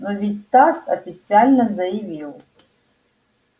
но ведь тасс официально заявил